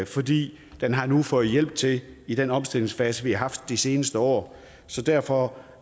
fordi den har fået hjælp til det i den omstillingsfase vi har haft de seneste år så derfor